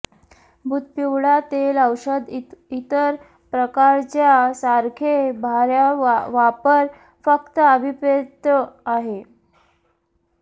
बुध पिवळा तेल औषध इतर प्रकारच्या सारखे बाह्य वापर फक्त अभिप्रेत आहे